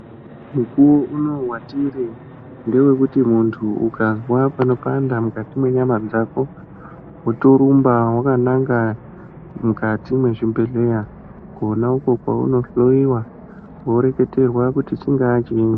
Mukuwo unowu watiri ndewekuti ukazwa panopanda mukati mwenyama dzako wotorumba wakananga mukati mwezvibhedhleya kona uko kwaunohloyiwa woreketerwa kuti chingaa chinyi.